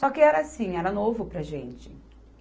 Só que era assim, era novo para a gente.